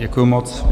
Děkuji moc.